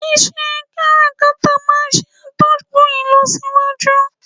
Ise kárakára maa n se atókùn ilosíwájú